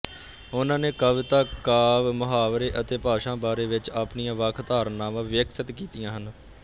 ਉਹਨਾਂ ਨੇ ਕਵਿਤਾ ਕਾਵਿ ਮੁਹਾਵਰੇ ਅਤੇ ਭਾਸ਼ਾ ਬਾਰੇ ਵਿੱਚ ਆਪਣੀਆਂ ਵੱਖ ਧਾਰਨਾਵਾਂ ਵਿਕਸਿਤ ਕੀਤੀਆਂ ਹਨ